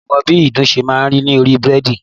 Mi ò mọ bí ìdun ṣe máa ń dé orí bẹ́ẹ̀dì